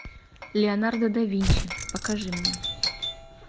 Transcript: леонардо да винчи покажи мне